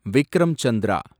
Vikram Chandra